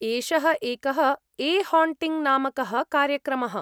एषः एकः a haunting नामकः कार्यक्रमः।